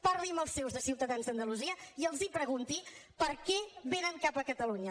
parli amb els seus de ciutadans d’andalusia i els pregunti per què vénen cap a catalunya